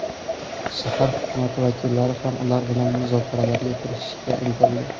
Shahar hukumati vakillari ham ular bilan muzokaralarga kirishishga intildi.